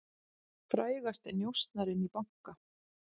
Frægasti njósnarinn í banka